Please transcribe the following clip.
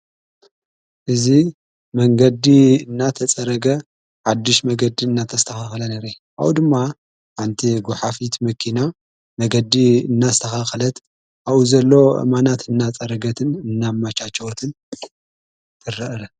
እዙ መንገዲ እናተጸረገ ሓድሽ መንገዲ እናተስተኻኽለ ንሬኢ ካቡኡ ድማ ኣንቲ ጐሓፊት መኪና መገዲ እናሰኻኽለት ኣዉ ዘሎ እማናት እናጸረገትን እናማቻችወትን ትረኢ ::